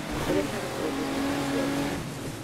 ũrehaga ũthũ na aciari ake